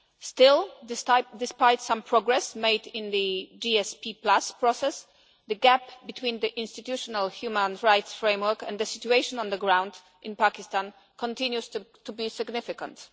Still, despite some progress made in the GSP process, the gap between the institutional human rights framework and the situation on the ground in Pakistan continues to be significant.